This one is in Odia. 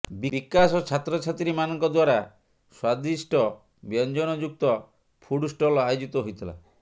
ବିକାଶ ଛାତ୍ରଛାତ୍ରୀମାନଙ୍କ ଦ୍ୱାରା ସ୍ୱାଦିଷ୍ଟ ବ୍ୟଞ୍ଜନ ଯୁକ୍ତ ଫୁଡ୍ଷ୍ଟଲ୍ ଆୟୋଜିତ ହୋଇଥିଲା